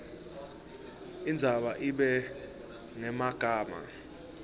indzaba ibe ngemagama